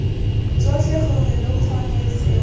tsotlhe gore lo kgone seo